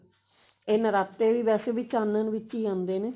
ਇਹ ਨਰਾਤੇ ਵੇਸੇ ਵੀ ਚਾਨਣ ਵਿੱਚ ਆਉਂਦੇ ਨੇ